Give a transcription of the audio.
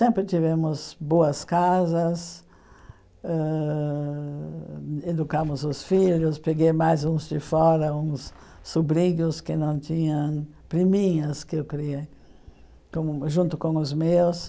Sempre tivemos boas casas, ãh educamos os filhos, peguei mais uns de fora, uns sobrinhos que não tinham, priminhas que eu criei como junto com os meus.